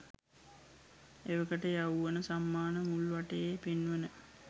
එවකට යෞවන සම්මාන මුල්වටයේ පෙන්වන